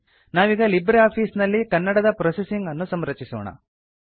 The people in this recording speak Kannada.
ನಾವೀಗ ಲಿಬ್ರೆ ಆಫೀಸ್ ನಲ್ಲಿ ಕನ್ನಡದ ಪ್ರೊಸೆಸಿಂಗ್ ಅನ್ನು ಸಂರಚಿಸೋಣ